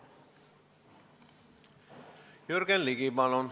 Jürgen Ligi, palun!